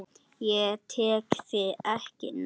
Ég tek þig ekki núna.